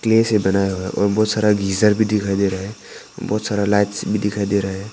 Clay से बनाया हुआ है और बहुत सारा गीजर भी दिखाई दे रहा है बहुत सारा लाइट्स भी दिखाई दे रहा है।